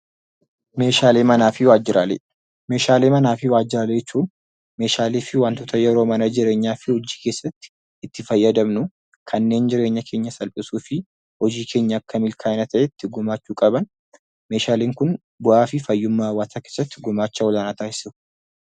Meeshaalee manaa fi waajjiraalee: Meeshaalee manaa fi waajjiraalee jechuun meeshaalee fi wantoota yeroo mana jireenyaa fi hojii keessatti itti fayyadamnuu, kanneen jireenya keenyas salphisuu fi hojii keenya akka milkaa'ina ta'etti gumaachuu qaban. Meeshaaleen kun bu'aa fi fayyummaa hawaasaa keessatti gumaacha olaanaa taasisu.